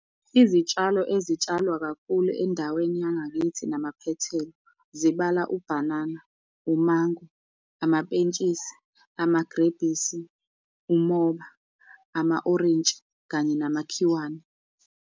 Izitshalo ezitsalwa kakhulu endaweni yangakithi namaphethelo zibala ubhanana, umango, amapentshisi, amagrebhisi, umoba, ama-orintshi kanye namakhiwane.